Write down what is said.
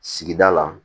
Sigida la